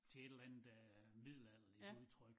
Til et eller andet øh middelalderligt udtryk